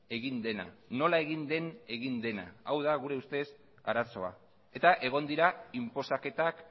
egin dena nola egin den egin dena hau da gure ustez arazoa eta egon dira inposaketak